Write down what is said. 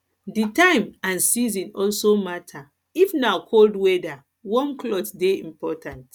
di time and season also matter if na cold weather warm cloth dey important